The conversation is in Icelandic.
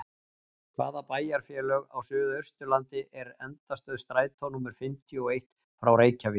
Hvaða bæjarfélag á suðausturlandi er endastöð strætó númer fimmtíu og eitt frá Reykjavík?